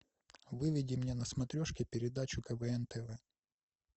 выведи мне на смотрешке передачу квн тв